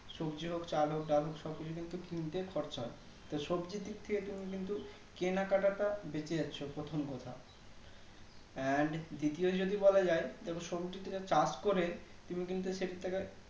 সবজি হোক চাল হোক ডাল হোক সবকিছু কিন্তু কিনতে খরচা আছে তো সবজির দিকথেকে তুমি কিন্তু কেনা কাটা টা ব্যাচে যাচ্ছে প্রথম কথা And দ্বিতীয় যদি বলা যাই সবজি থেকে চাষ করে তুমি কিন্তু সেদিক থেকে